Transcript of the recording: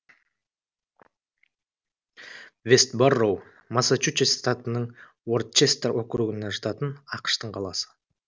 вэст борроу массачусетс штатының уорчестер округіне жататын ақштың қаласы